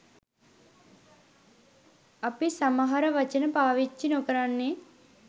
අපි සමහර වචන පාවච්චි නොකරන්නේ.